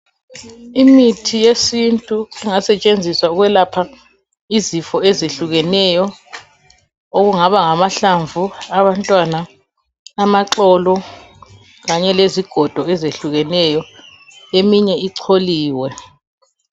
Imithi yesintu engasetshenziswa ukwelapha izifo ezehlukeneyo kungaba ngamahlamvu abantwana amaxolo kanye lezigodo ezehlukeneyo eminye icholiwe.